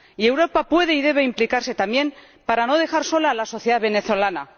Y Europa puede y debe implicarse, también, para no dejar sola a la sociedad venezolana.